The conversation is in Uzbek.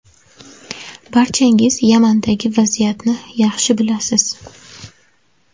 Barchangiz Yamandagi vaziyatni yaxshi bilasiz.